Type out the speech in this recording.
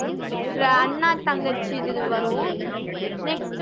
அண்ணா தங்கச்சி இது வரும் next